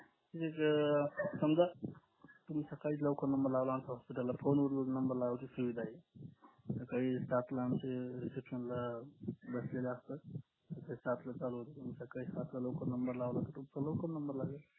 तुम्ही जर सकाळी जर लवकर number लावला आमच्या hospital ला phone वर number लावायची सुविधा आहे सकाळी सात ला आमचे reception ला बसलेले असतात ते सात ला चालू होत तुम्ही सकाळी सातला लवकर number लावला तर तुमचा लवकर number लागेल